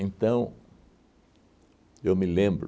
eu me lembro,